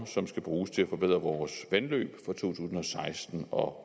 som skal bruges til at forbedre vores vandløb fra to tusind og seksten og